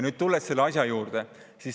Nüüd tulen selle asja juurde.